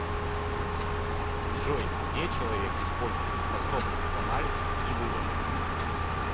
джой где человек использует способность к анализу и выводам